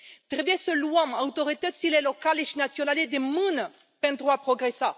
Trebuie să luăm autoritățile locale și naționale de mână pentru a progresa.